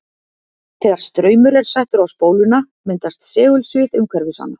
Þegar straumur er settur á spóluna myndast segulsvið umhverfis hana.